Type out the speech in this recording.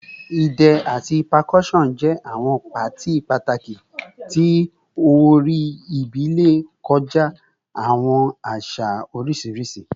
Idẹ ati percussion jẹ awọn paati pataki ti orin ibile kọja awọn aṣa oriṣiriṣi